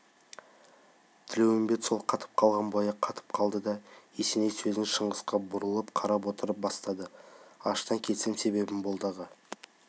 тілеуімбет сол қатып қалған бойы қатты да қалды есеней сөзін шыңғысқа бұрыла қарап отырып бастады ашына келсем себебім болды аға